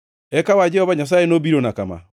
Eka wach Jehova Nyasaye nobirana kama: